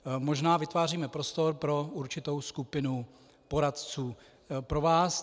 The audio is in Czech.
Možná vytváříme prostor pro určitou skupinu poradců pro vás.